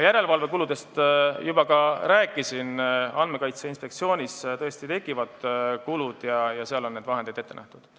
Järelevalvekuludest ma juba rääkisin, Andmekaitse Inspektsioonis tõesti tekivad kulud ja seal on need vahendid ette nähtud.